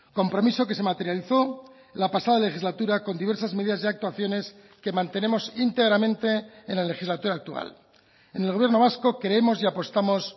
compromiso que se materializó la pasada legislatura con diversas medidas de actuaciones que mantenemos íntegramente en la legislatura actual en el gobierno vasco creemos y apostamos